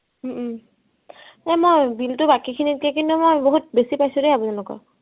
উম উম এ মই bill তো বাকী খিনিতকে কিন্তু মই বহুত বেছি পাইছো দেই আপোনালোকৰ